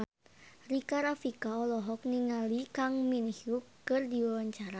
Rika Rafika olohok ningali Kang Min Hyuk keur diwawancara